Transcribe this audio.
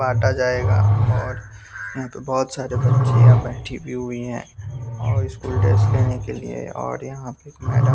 काटा जाएगा और बहुत सारे बच्चियाँ बैठी भी हुई हैं और स्कूल ड्रेस लेने के लिए और यहाँ पे एक मैडम --